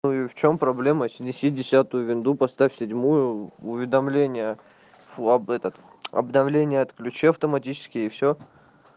ну и в чем проблема снеси десятую винду поставь седьмую уведомление фу об этот обновление отключи автоматические и все